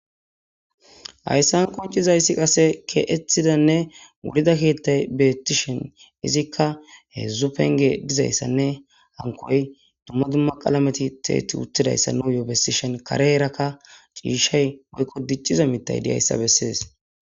Hayissa qonicizayisa kexxeti wuridda kethaza betishini izikka hedzu penigeyi dizayissanne dum duma qalameti dizayissanne kare bagara cishshayinbe duma duma mithati dizayissa besesi